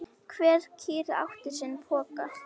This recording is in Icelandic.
Hver kýr átti sinn poka.